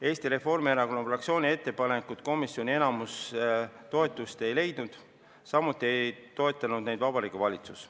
Eesti Reformierakonna fraktsiooni ettepanekud komisjoni enamuse toetust ei leidnud, samuti ei toetanud neid Vabariigi Valitsus.